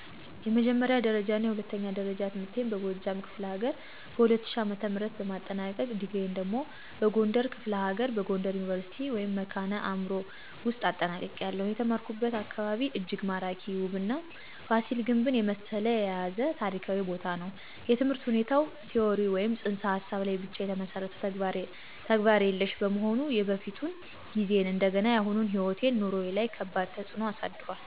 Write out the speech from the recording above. የመጀመሪያ ደረጃና የሁለተኛ ደረጃ ትምህርቴን በጎጃም ክፍለ ሀገር በ2000 ዓ.ም በማጠናቀቅ፤ ዲግሪየን ደግሞ በጎንደር ክፍለ ሀገር በጎንደር ዩኒቨርሲቲ ( መካነ አዕምሮ ) ውውስጥ አጠናቅቄያለሁ። የተማርኩበት አካባቢ እጅግ ማራኪ፣ ውብና ፋሲል ግንብን የመሰለ የያዘ ታሪካዊ ቦታ ነው። የትምህርት ሁኔታው ቲዎሪ ወይም ፅንሰ ሀሳብ ላይ ብቻ የተመሠረተ፣ ተግባር የሌሽ በመሆኑ የበፊቱን ጊዜዬን እንደገናም የአሁኑ ሕይወቴ/ኑሮዬ ላይ ከባድ ተፅእኖ አሳድሯል።